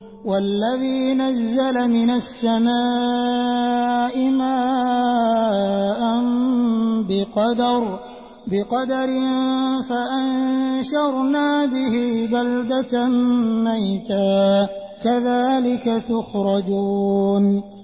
وَالَّذِي نَزَّلَ مِنَ السَّمَاءِ مَاءً بِقَدَرٍ فَأَنشَرْنَا بِهِ بَلْدَةً مَّيْتًا ۚ كَذَٰلِكَ تُخْرَجُونَ